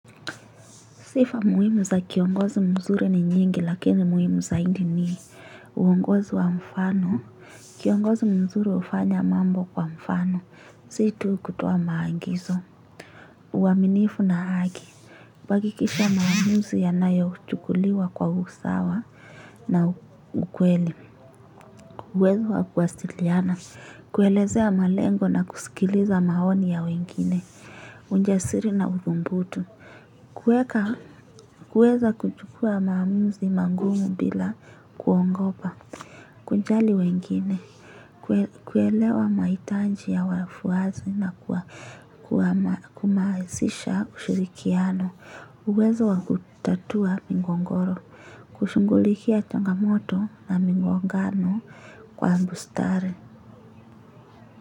Sifa muhimu za kiongozi mzuri ni nyingi lakini muhimu zaidi ni uongozi wa mfano. Kiongozi mzuri ufanya mambo kwa mfano. Si tu kutoa maagizo. Uaminifu na haki. Kuhakikisha maamuzi yanayochukuliwa kwa usawa na ukweli. Kuelezea malengo na kusikiliza maoni ya wengine. Ujasiri na udhubutu. Kuweza kuchukua maamuzi mangumu bila kuogopa. Kujali wengine. Kuelewa mahitaji ya wafuasi na kumazisha ushirikiano uwezo wa kutatua migogoro. Kushughulikia changamoto na migongano kwa bustare.